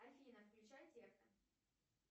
афина включай техно